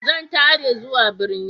Zan tare zuwa birni.